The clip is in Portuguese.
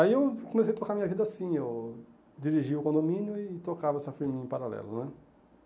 Aí eu comecei a tocar a minha vida assim, eu dirigi o condomínio e tocava essa firminha em paralelo, né?